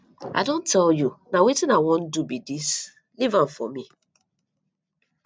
i don tell you na wetin i wan do be dis leave am for me